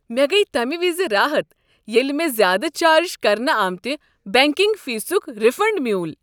مےٚ گٔیۍ تمہ وز راحت ییٚلہ مےٚ زیادٕ چارج کرنہٕ آمتِہ بینکنگ فیسک ریفنڈ میول۔